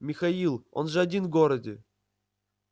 михаил он же один в городе